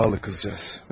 Sağol qızceğiz.